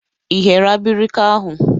Ị ghere abirika ahụ?